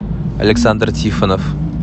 александр тифонов